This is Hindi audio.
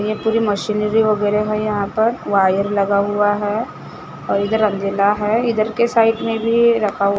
ये पूरी मशीनरी वगैरह है यहां पर वायर लगा हुआ है और इधर अंजला है इधर के साइड में भी रखा हु--